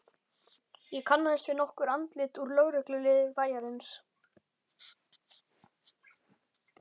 Ég kannaðist við nokkur andlit úr lögregluliði bæjarins.